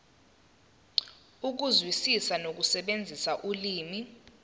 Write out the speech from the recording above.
ukuzwisisa nokusebenzisa ulimi